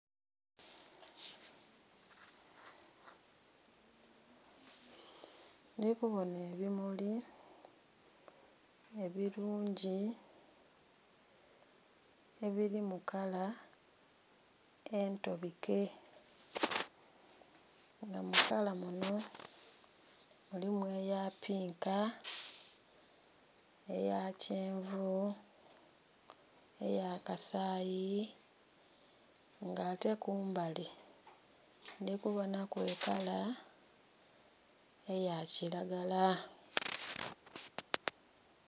Ndhikubona ebimuli ebirungi ebiri mukala entabike nga mukala muno mulimu eyapinka, eyakyenvu, eyakasayi, nga ate kumbali ndhi kubonaku ekala eyakiragala.